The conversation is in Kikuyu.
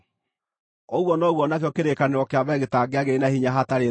Ũguo noguo o nakĩo kĩrĩkanĩro kĩa mbere gĩtingĩagĩire na hinya hatarĩ thakame.